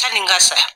Sanni n ka sa